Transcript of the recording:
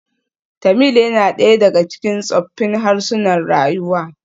Tamil yana ɗaya daga cikin tsoffin harsunan rayuwa.